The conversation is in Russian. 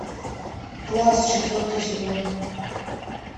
класс четвертый сезон